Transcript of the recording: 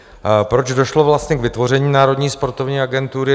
Proč došlo vlastně k vytvoření Národní sportovní agentury?